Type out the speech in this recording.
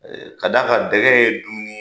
K'a d'a kan dɛgɛ ye dumuni ye,